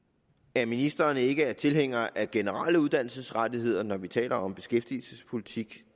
at ministeren ikke er tilhænger af generelle uddannelsesrettigheder når vi taler om beskæftigelsespolitik